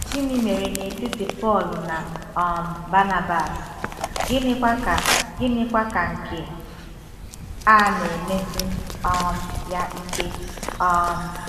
Gịnị mere n’etiti Pọl na um Banabas, gịnịkwa ka gịnịkwa ka nke a na-emesi um ya ike? um